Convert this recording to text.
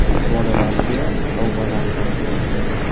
Bolalarga sovg‘alar topshirildi.